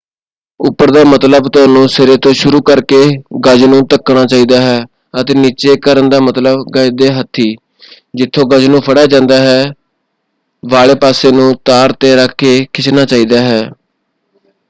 ਉੱਪਰ ਦਾ ਮਤਲਬ ਤੁਹਨੂੰ ਸਿਰੇ ਤੋਂ ਸ਼ੁਰੂ ਕਰਕੇ ਗਜ਼ ਨੂੰ ਧੱਕਣਾ ਚਾਹੀਦਾ ਹੈ ਅਤੇ ਨਿੱਚੇ ਕਰਨ ਦਾ ਮਤਲਬ ਗਜ਼ ਦੇ ਹੱਥੀ ਜਿੱਥੋਂ ਗਜ਼ ਨੂੰ ਫੜਿਆ ਜਾਂਦਾ ਹੈ ਵਾਲੇ ਪਾਸੇ ਨੂੰ ਤਾਰ 'ਤੇ ਰੱਖ ਕੇ ਖਿੱਚਣਾ ਚਾਹੀਦਾ ਹੈ।